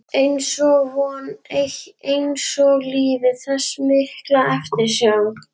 einsog vonin, einsog lífið- þessi mikla eftirsjá.